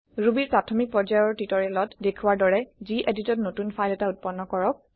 Rubyৰ প্ৰাথমিক পৰ্যায়ৰ টিওটৰিয়েলত দেখুৱা দৰে geditত নতুন ফাইল এটা উত্পন্ন কৰক